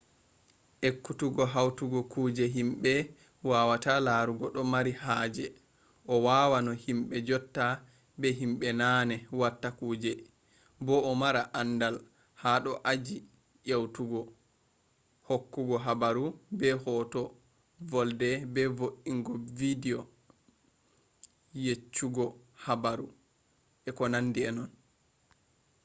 ekkutuggo hautugo kuje himbe wawata larugo do mari haje a wawa no himbe jotta be himbe naane watta kuje bo a mara andal ha do aji yeutugohokkugo habaru be hoto volde be vo’ingo bidiyo yeccugo habaru etc